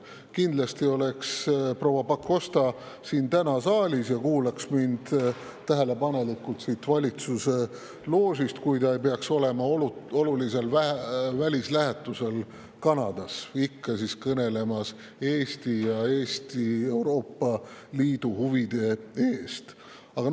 Kindlasti oleks proua Pakosta täna siin saalis ja kuulaks mind tähelepanelikult siit valitsuse loožist, kui ta ei peaks olema olulisel välislähetusel Kanadas, ikka Eesti ja Euroopa Liidu huvide eest kõnelemas.